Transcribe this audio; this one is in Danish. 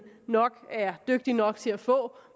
er dygtig nok til at få